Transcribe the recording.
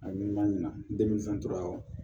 A ni ma ɲina tora